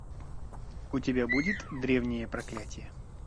у тебя будет древнее проклятье